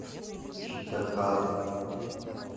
читакар